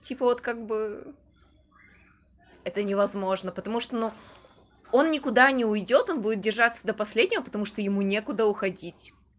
типа вот как бы это не возможно потому что но он никуда не уйдёт он будет держаться до последнего потому что ему не куда уходить